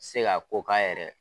Se ka ko k'a yɛrɛ ye.